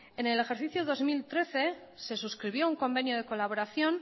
en el ejercicio dos mil trece se suscribió un convenio de colaboración